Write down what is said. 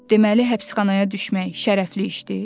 Deməli həbsxanaya düşmək şərəfli işdir?